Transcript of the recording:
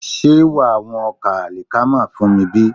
Ṣé wàá wọn ọkà àlìkámà fún mi bí?